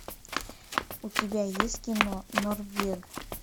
у тебя есть кино норвег